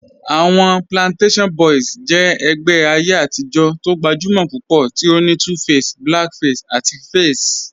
Awọn Plantashun Boys jẹ ẹgbẹ ayé atijọ̀ tó gbajúmọ̀ púpọ̀ tí ó ní 2face, Blackface àti Faze.